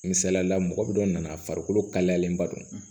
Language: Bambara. Misalila mɔgɔ bɛ dɔ nana a farikolo kalayalenba don